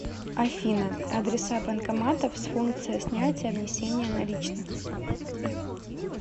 афина адреса банкоматов с функцией снятия внесения наличных